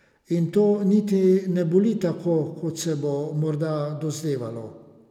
In to niti ne boli tako, kot se bo morda dozdevalo.